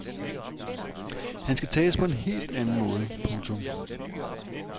Han skal tages på en helt anden måde. punktum